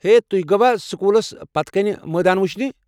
ہے، تُہۍ گُوا سکوٗلس پٔتہِ کِنہِ مٲدان وُچھنہِ؟